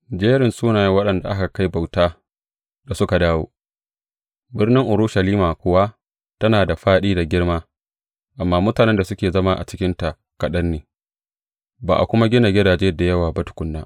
Jerin sunayen waɗanda aka kai bauta da suka dawo Birnin Urushalima kuwa tana da fāɗi da girma, amma mutanen da suke zama a cikinta kaɗan ne, ba a kuma gina gidaje da yawa ba tukuna.